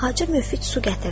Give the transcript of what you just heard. Xacə Müfid su gətirdi.